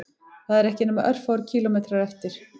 Það eru ekki nema örfáir kílómetrar eftir